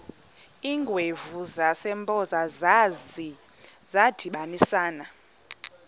iingwevu zasempoza zadibanisana